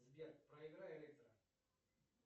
сбер проиграй электро